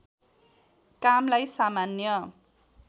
कामलाई सामान्य